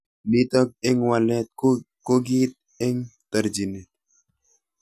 Nitok eng walet ko kiit eng terjinet.